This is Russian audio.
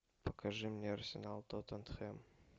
покажи мне арсенал тоттенхэм